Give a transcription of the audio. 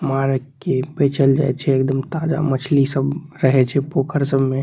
मार के बेचल जाय छै एकदम ताजा मछली सब रहे छै पोखर सब में।